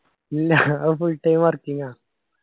അത് full time working ആ.